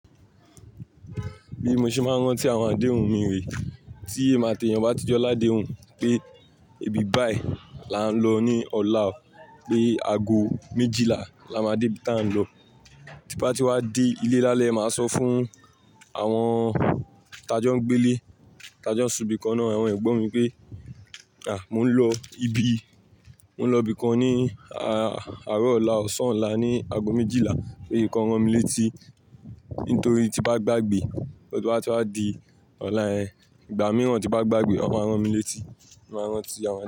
Bí mo ṣe máa ń rántí àwọn adehun mi rè, tí èmi àti èèyàn bá tí jọ ládéhùn pé ibi báì lá ń lọ ní ọ̀la o, pé ago méjìlá la máa dé ibi tá ń lọ. Tí bá ti wá dé ilé lálẹ́, màá sọ fún àwọn ta jọ ń gbé lé, ta jọ ń subí kan ná, àwọn ẹ̀gbọ́n mi pé, à! Mò ń lọ ibi, mò ń lọ ibìkan ní àárọ̀ ọ̀la, ọ̀sán ọ̀la ní ago méjìlá pé kàn rán mi létí. Nítorí tí bá gbàgbé, tí wọ́n bá ti wá dí ọ̀la ẹ, ìgbà mìíràn tí bá gbàgbé, wọ́n máa rán mi létí. Mo máa rántí àwọn.